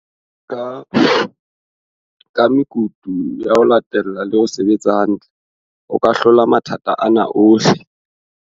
"Ka mekutu ya ho latella le ho se betsa hantle, o ka hlola matha ta ana ohle".